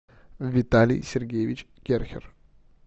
виталий сергеевич керхер